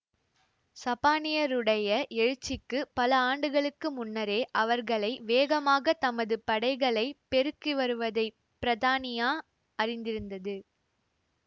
சப்பானியருடைய எழுச்சிக்குப் பல ஆண்டுகளுக்கு முன்னரே அவர்களை வேகமாகத் தமது படைகளை பெருக்கிவருவதைப் பிரத்தானியா அறிந்திருந்தது